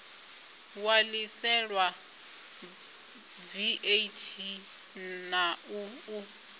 ṋwaliselwa vat na u ṱu